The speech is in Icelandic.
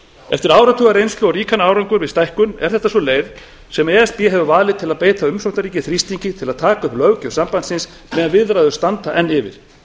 eftir áratugareynslu og ríkan árangur við stækkun er þetta sú leið sem e s b hefur valið til að beita umsóknarríki þrýstingi til að taka upp löggjöf sambandsins meðan viðræður standa enn yfir